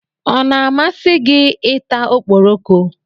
Ọ na-amasị gị ị ta ọkpọrọko?